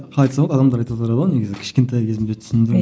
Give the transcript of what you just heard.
қалай айтса болады адамдар айтып отырады ғой негізі кішкентай кезімде түсіндім